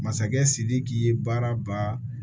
Masakɛ sidiki ye baaraba